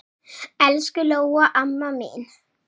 Elsku Lóa amma mín.